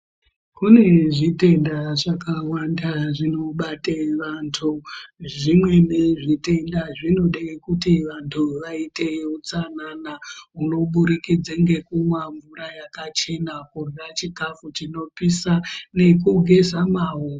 Kune zvitenda zvakawanda zvinobate vantu. Zvimweni zvitenda zvinode kuti vantu vaite utsanana, hunobudikidze ngekumwa mvura yakachena, kurya chikafu chinopisa nekugeza maoko.